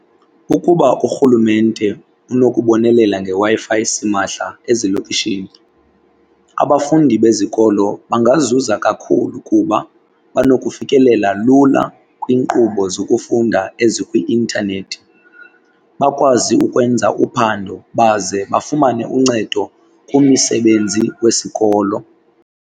Ukuba uRhulumente unokubonelela ngeWi-Fi esimahla ezilokishini abafundi bezikolo bangazuza kakhulu kuba banokufikelela lula kwiinkqubo zokufunda ezikwi-intanethi, bakwazi ukwenza uphando baze bafumane uncedo kumisebenzi wesikolo.